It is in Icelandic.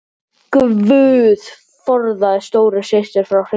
GUÐ forðaðu stóru systur frá hryllingi.